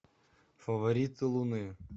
фавориты луны